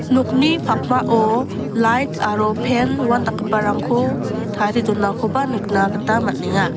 nokni pakmao lait aro pan ua indakgiparangko tarie donakoba nikna gita man·enga.